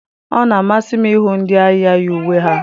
Ọ na-amasị m ịhụ ndị agha yi uwe ha.